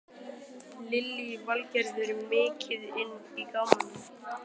Lillý Valgerður: Mikið inn í gámnum?